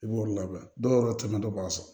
I b'olu labɛn dɔw yɛrɛ caman dɔ b'a sɔrɔ